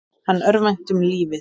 Hann örvænti um lífið.